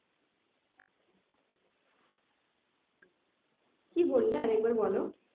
কি বললে আরেকবার বলো